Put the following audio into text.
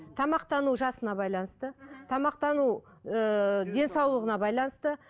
тамақтану жасына байланысты мхм тамақтану ыыы денсаулығына байланысты